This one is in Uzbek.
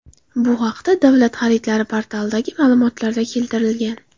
Bu haqda Davlat xaridlari portalidagi ma’lumotlarda keltirilgan .